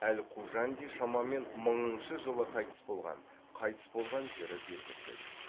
әл қужанди шамамен мыңыншы жылы қайтыс болған қайтыс болған жері белгісіз